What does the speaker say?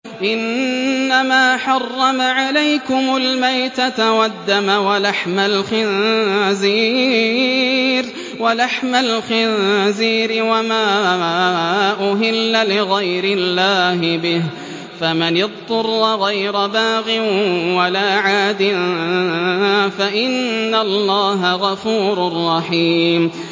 إِنَّمَا حَرَّمَ عَلَيْكُمُ الْمَيْتَةَ وَالدَّمَ وَلَحْمَ الْخِنزِيرِ وَمَا أُهِلَّ لِغَيْرِ اللَّهِ بِهِ ۖ فَمَنِ اضْطُرَّ غَيْرَ بَاغٍ وَلَا عَادٍ فَإِنَّ اللَّهَ غَفُورٌ رَّحِيمٌ